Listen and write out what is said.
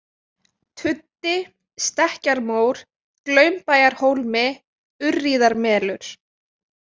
Tuddi, Stekkjarmór, Glaumbæjarhólmi, Urríðamelur